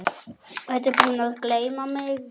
Ertu búinn að gleyma mig?